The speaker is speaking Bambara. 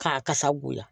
K'a kasa goya